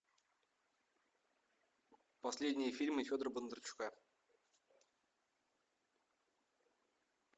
последние фильмы федора бондарчука